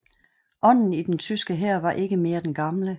Ånden i den tyske hær var ikke mere den gamle